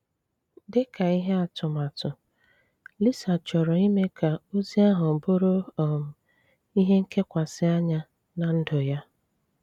Dị̀ kà ihé atụmatụ, Lisa chọrọ̀ ime ka ozí ahụ bụrụ um ihé nkekwasi anya ná ndụ̀ ya.